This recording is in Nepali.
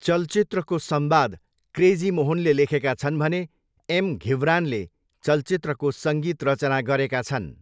चलचित्रको संवाद क्रेजी मोहनले लेखेका छन् भने एम घिब्रानले चलचित्रको सङ्गीत रचना गरेका छन्।